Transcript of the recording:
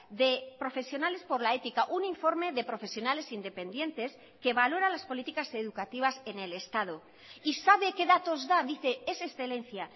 de profesionales por la ética un informe de profesionales independientes que valora las políticas educativas en el estado y sabe qué datos da dice es excelencia